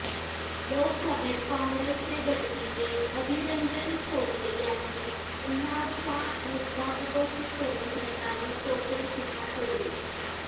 लोकसभेत काँगेसचे गटनेते अधीररंजन चौधरी यांनी उन्नावचा मुद्दा उपस्थित करून सरकारवर चौफेर टीका केली